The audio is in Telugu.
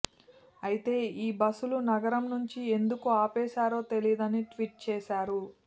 అయితే ఈ బస్సులు నగరం నుంచి ఎందుకు ఆపేశారో తెలియదని ట్వీట్ చేశారు